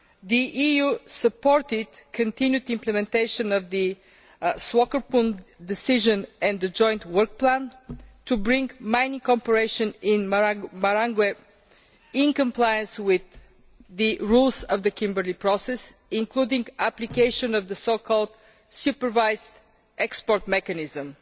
the EU supported the continued implementation of the Swakopmund Decision and the joint work plan to bring mining cooperation in Marangwe into compliance with the rules of the Kimberley Process, including application of the so called supervised export mechanism.